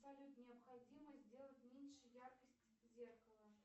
салют необходимо сделать меньше яркость зеркала